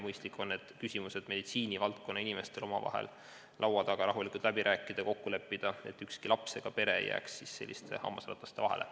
Mõistlik on need küsimused meditsiinivaldkonna inimestel omavahel laua taga rahulikult läbi rääkida ja neis kokku leppida, et ükski laps ega pere ei jääks selliste hammasrataste vahele.